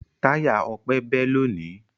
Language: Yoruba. Táyà Ọpẹ́ bẹ́ lónìí.